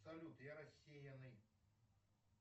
салют я рассеянный